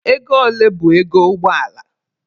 Ego ole bụ ego ụgbọ ala?